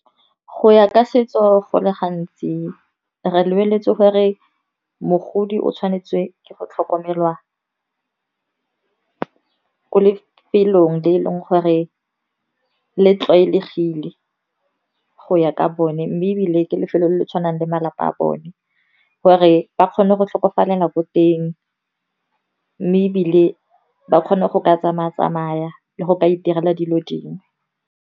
Go ya ka setso go le gantsi re lebeletse gore mogodi o tshwanetse ke go tlhokomelwa ko lefelong le eleng gore le tlwaelegile go ya ka bone. Mme ebile ke lefelo le le tshwanang le malapa a bone, gore ba kgone go tlhokofalela ko teng. Mme ebile ba kgone go ka tsamaya-tsamaya le go ka iterela dilo dingwe.